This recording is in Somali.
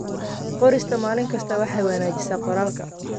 Qorista maalin kasta waxay wanaajisaa qoraalka.